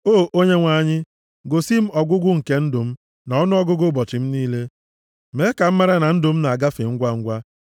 “O Onyenwe anyị, gosi m ọgwụgwụ nke ndụ m na ọnụọgụgụ ụbọchị m niile; mee ka m mara na ndụ m na-agafe ngwangwa.